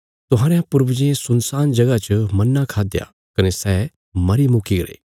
तुहांरयां पूर्वजें सुनसान जगह च मन्ना खाद्दया कने सै मरी चुक्कीगरे